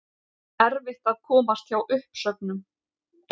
Erfitt að komast hjá uppsögnum